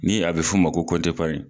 Ni a be f'o ma ko